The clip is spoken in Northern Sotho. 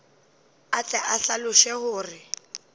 a tle a hlaloše gore